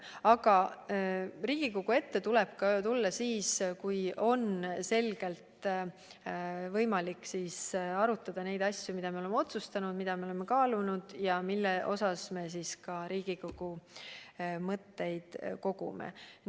Aga Riigikogu ette tuleb tulla siis, kui on võimalik arutada asju, mida me oleme otsustanud, mida me oleme kaalunud ja mille kohta me ka Riigikogu mõtteid kogume.